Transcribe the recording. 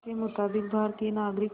के मुताबिक़ भारतीय नागरिक